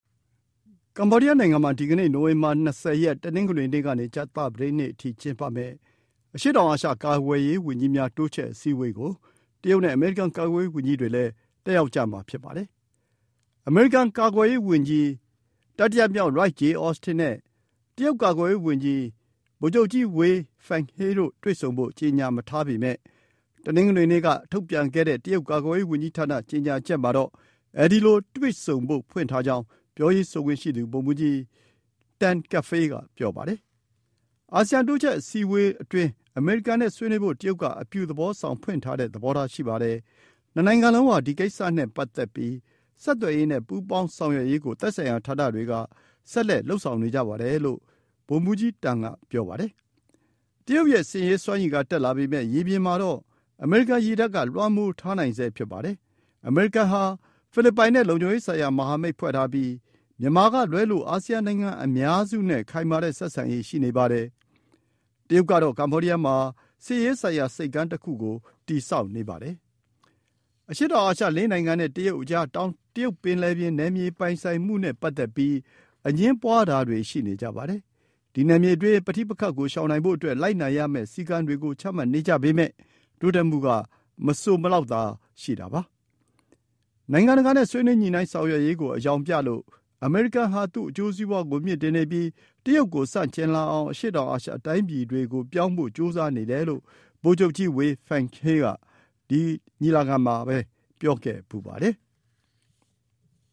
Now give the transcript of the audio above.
ကမ္ဘောဒီယားနိုင်ငံမှာ ဒီကနေ့ နိုဝင်ဘာ ၂၀ ရက်၊ တနင်္ဂနွေနေ့ကနေ ကြာသပတေးနေ့အထိ ကျင်းပမယ့် အရှေ့တောင်အာရှ ကာကွယ်ရေး ဝန်ကြီးများ တိုးချဲ့အစည်းအဝေးကို တရုတ်နဲ့ အမေရိကန် ကာကွယ်ရေးဝန်ကြီးတွေလည်း တက်ရောက်ကြမှာ ဖြစ်ပါတယ်။ အမေရိကန် ကာကွယ်ရေးဝန်ကြီး Lloyd J. Austin III နဲ့ တရုတ်ကာကွယ်ရေးဝန်ကြီး Gen. Wei Fenghe တို့ တွေ့ဆုံဖို့ ကျေညာမထားပေမဲ့၊ တနင်္ဂနွေနေ့က ထုတ်ပြန်ခဲ့တဲ့ တရုတ်ကာကွယ်ရေး ဝန်ကြီးဌာန ကျေညာချက်မှာတော့ အဲဒီလို တွေ့ဆုံဖို့ ဖွင့်ထားကြောင်း ပြောရေးဆိုခွင့်ရှိသူ ဗိုလ်မှူးကြီး Col. Tan Kefei က ဆိုပါတယ်။ “အာဆီယံ တိုးချဲ့အစည်းအဝေးအတွင်း အမေရိကန်နဲ့ ဆွေးနွေးဖို့ တရုတ်က အပြုသဘောဆောင်၊ ဖွင့်ထားတဲ့ သဘောထား ရှိပါတယ်။ နှစ်နိုင်ငံလုံးဟာ ဒီကိစ္စနဲ့ ပတ်သက်ပြီး ဆက်သွယ်ရေးနဲ့ ပူးပေါင်းဆောင်ရွက်ရေးကို သက်ဆိုင်ရာဌာနတွေက ထိန်းသိမ်းလုပ်ဆောင်နေကြပါတယ်” - လို့ ဗိုလ်မှူးကြီး Tan က ဆိုပါတယ်။ တရုတ်ရဲ့ စစ်ရေးစွမ်းရည်က တက်လာပေမဲ့၊ ရေပြင်မှာတော့ အမေရိကန်ရေတပ်က လွှမ်းမိုးထားနိုင်ဆဲ ဖြစ်ပါတယ်။ အမေရိကန်ဟာ ဖိလစ်ပိုင်နဲ့ လုံခြုံရေးဆိုင်ရာ မဟာမိတ်ဖွဲ့ထားပြီး မြန်မာကလွဲလို့ အာဆီယံနိုင်ငံအများစုနဲ့ ခိုင်မာတဲ့ ဆက်ဆံရေး ရှိနေပါတယ်။ တရုတ်ကတော့ ကမ္ဘောဒီးယားမှာ စစ်ရေးဆိုင်ရာ ဆိပ်ကမ်းတစ်ခုကို တည်ဆောက်နေပါတယ်။ အရှေ့တောင်အာရှ ၄ နိုင်ငံနဲ့ တရုတ်အကြား တောင်တရုပ်ပင်လယ် နယ်မြေပိုင်ဆိုင်မှုနဲ့ ပတ်သက်ပြီး အငြင်းပွါးတာတွေ ရှိနေကြပါတယ်။ ဒီနယ်မြေအတွင်း ပဋိပက္ခကို ရှောင်နိုင်ဖို့အတွက် လိုက်နာရမယ့် စည်းကမ်းတွေကို ချမှတ်နေကြပေမဲ့ တိုးတက်မှုက မဆိုစလောက်သာ ရှိတာပါ။ နိုင်ငံတကာနဲ့ ဆွေးနွေးညှိုနှိုင်းဆောင်ရွက်ရေးကို အယောင်ပြလို့၊ အမေရိကန်ဟာ သူ့အကျိုးစီးပွါးကို မြှင့်တင်နေပြီး တရုတ်ကို ဆန့်ကျင်လာအောင် အရှေ့တောင်အာရှ တိုင်းပြည်တွေကို ပြောင်းဖို့ ကြိုးစားနေတယ်လို့ ဗိုလ်ချုပ်ကြီး Wei Fenghe က ဒီ ညီလာခံမှာဘဲ ပြောခဲ့ဖူးပါတယ်။